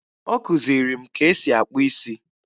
Ọ kụziri m ka esi akpụ isi